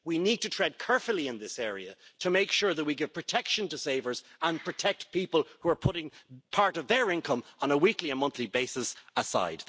We need to tread carefully in this area to make sure that we give protection to savers and protect people who are putting part of their income on a weekly or monthly basis aside.